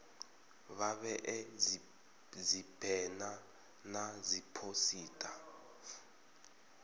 vha vhee dzibena na dziphosita